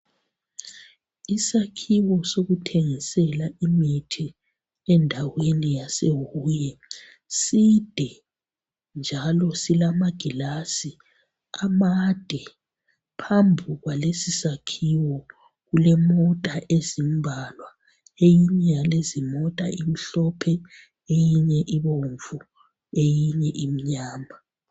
Isakhiwo sokuthengisela imithi endaweni yaseHuye side njalo silamagilasi amade. Phambi kwalesi sakhiwo kulemota ezimbalwa Eyinye yalezimota imhlophe eyinye ibomvu eyinye imnyama.